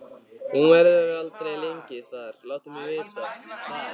Hún verður aldrei lengi þar, láttu mig vita það.